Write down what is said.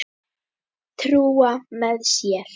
Trúa með sér.